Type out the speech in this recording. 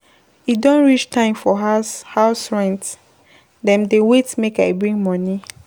E don reach time for house house rent, dem dey wait make I bring moni.